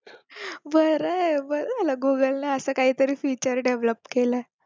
बरंये बरं झालं google ला असं काहीतरी feature develop केलाय